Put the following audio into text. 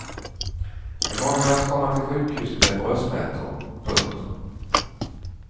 I måndags kom han till sjukhus med bröstsmärtor. punkt